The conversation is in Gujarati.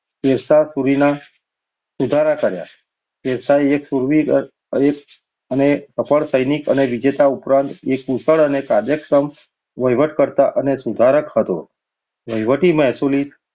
શેરશાહ સૂરીના સુધારા શેરશાહ એક શૂરવીર અને સફળ સૈનિક તથા વિજેતા ઉપરાંત એક કુશળ અને કાર્યક્ષમ વહીવટર્ક્સ અને સુધારક હતો. વહીવટી મહેસૂલી